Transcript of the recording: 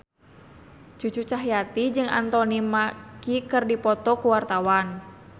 Cucu Cahyati jeung Anthony Mackie keur dipoto ku wartawan